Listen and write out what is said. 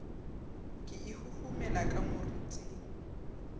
ka e huhumela ka moriting